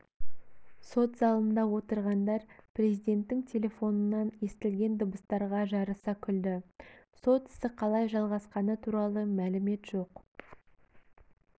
сот залында отырғандар президенттің телефонынан естілген дыбыстарға жарыса күлді сот ісі қалай жалғасқаны туралы мәлімет жоқ